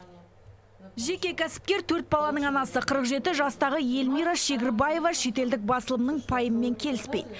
жеке кәсіпкер төрт баланың анасы қырық жеті жастағы эльмира шегірбаева шетелдік басылымның пайымымен келіспейді